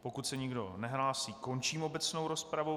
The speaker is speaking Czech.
Pokud se nikdo nehlásí, končím obecnou rozpravu.